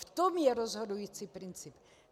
V tom je rozhodující princip.